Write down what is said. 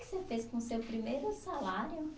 O que você fez com o seu primeiro salário?